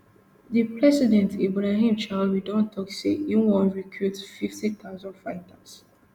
di president ibrahim traore don tok say e wan recruit fifty thousand fighters